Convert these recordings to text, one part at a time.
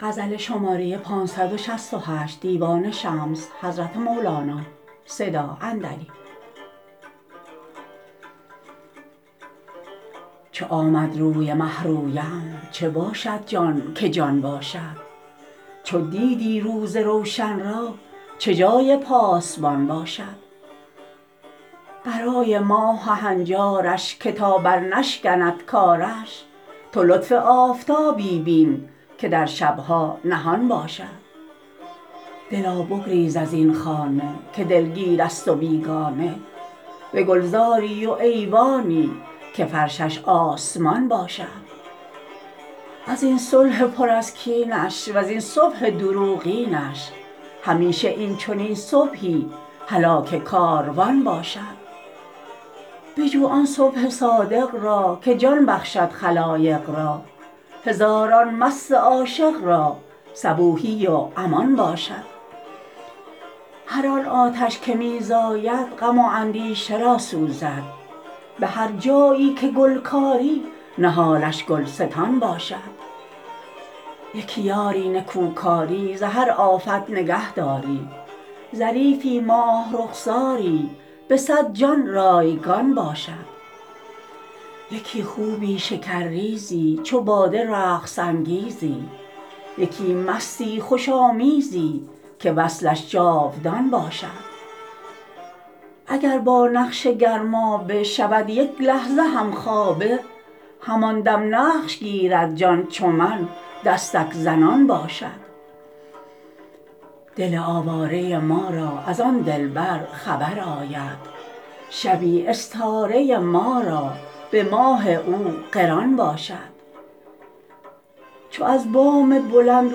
چو آمد روی مه رویم چه باشد جان که جان باشد چو دیدی روز روشن را چه جای پاسبان باشد برای ماه و هنجارش که تا برنشکند کارش تو لطف آفتابی بین که در شب ها نهان باشد دلا بگریز از این خانه که دلگیرست و بیگانه به گلزاری و ایوانی که فرشش آسمان باشد از این صلح پر از کینش وز این صبح دروغینش همیشه این چنین صبحی هلاک کاروان باشد بجو آن صبح صادق را که جان بخشد خلایق را هزاران مست عاشق را صبوحی و امان باشد هر آن آتش که می زاید غم و اندیشه را سوزد به هر جایی که گل کاری نهالش گلستان باشد یکی یاری نکوکاری ز هر آفت نگهداری ظریفی ماه رخساری به صد جان رایگان باشد یکی خوبی شکرریزی چو باده رقص انگیزی یکی مستی خوش آمیزی که وصلش جاودان باشد اگر با نقش گرمابه شود یک لحظه همخوابه همان دم نقش گیرد جان چو من دستک زنان باشد دل آواره ما را از آن دلبر خبر آید شبی استاره ما را به ماه او قران باشد چو از بام بلند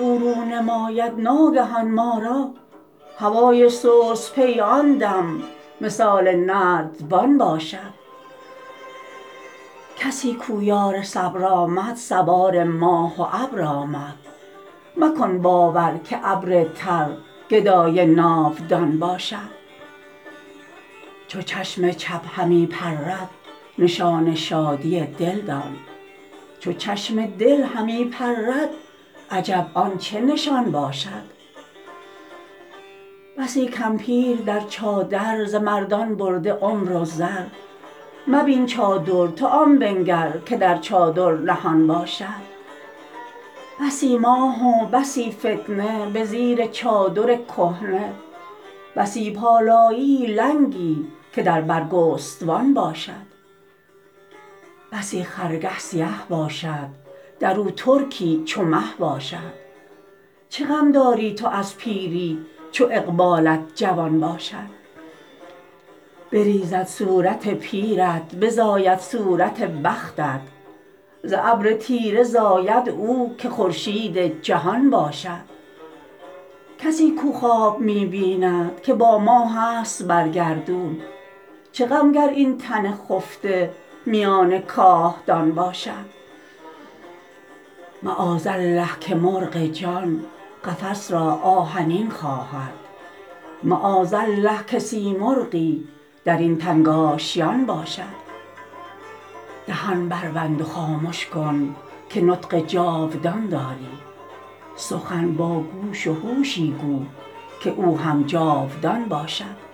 او رو نماید ناگهان ما را هوای سست بی آن دم مثال نردبان باشد کسی کو یار صبر آمد سوار ماه و ابر آمد مکن باور که ابر تر گدای ناودان باشد چو چشم چپ همی پرد نشان شادی دل دان چو چشم دل همی پرد عجب آن چه نشان باشد بسی کمپیر در چادر ز مردان برده عمر و زر مبین چادر تو آن بنگر که در چادر نهان باشد بسی ماه و بسی فتنه به زیر چادر کهنه بسی پالانیی لنگی که در برگستوان باشد بسی خرگه سیه باشد در او ترکی چو مه باشد چه غم داری تو از پیری چو اقبالت جوان باشد بریزد صورت پیرت بزاید صورت بختت ز ابر تیره زاید او که خورشید جهان باشد کسی کو خواب می بیند که با ماهست بر گردون چه غم گر این تن خفته میان کاهدان باشد معاذالله که مرغ جان قفس را آهنین خواهد معاذالله که سیمرغی در این تنگ آشیان باشد دهان بربند و خامش کن که نطق جاودان داری سخن با گوش و هوشی گو که او هم جاودان باشد